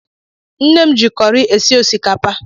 Nne m ji kọri esi osikapa.